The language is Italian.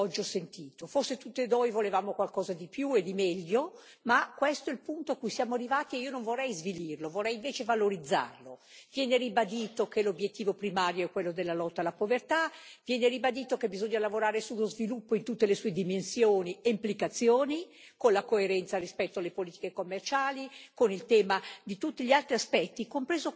Forse tutti noi volevamo qualcosa di più e di meglio, ma questo è il punto a cui siamo arrivati e io non vorrei svilirlo, vorrei invece valorizzarlo. Viene ribadito che l'obiettivo primario è quello della lotta alla povertà. Viene ribadito che bisogna lavorare sullo sviluppo in tutte le sue dimensioni e implicazioni con la coerenza rispetto alle politiche commerciali, con il tema di tutti gli altri aspetti, compreso quello delle migrazioni.